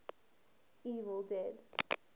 evil dead